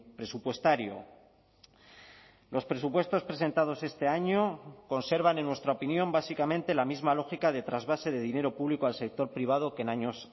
presupuestario los presupuestos presentados este año conservan en nuestra opinión básicamente la misma lógica de trasvase de dinero público al sector privado que en años